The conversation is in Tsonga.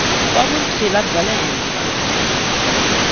wa vutshila bya le henhla